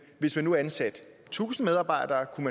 hvis man nu ansatte tusind medarbejdere